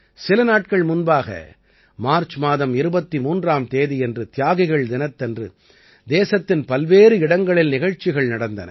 சில நாட்கள் முன்பாக மார்ச் மாதம் 23ஆம் தேதியன்று தியாகிகள் தினத்தன்று தேசத்தின் பல்வேறு இடங்களில் நிகழ்ச்சிகள் நடந்தன